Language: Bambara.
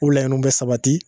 O laɲiniw bɛ sabati